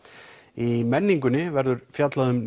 í menningunni verður fjallað um